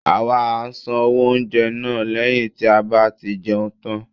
awa à sán owo oúnjẹ na, leyín ti a ba ti jeún tan